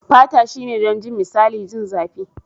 Fata shine don jin misali. Jin zapi.